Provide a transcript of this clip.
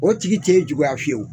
O tigi t'e juguya fiyewu.